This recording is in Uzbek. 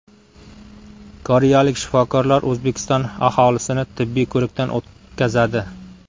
Koreyalik shifokorlar O‘zbekiston aholisini tibbiy ko‘rikdan o‘tkazadi.